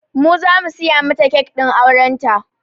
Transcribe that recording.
Mu zamu siya mata kek ɗin auren ta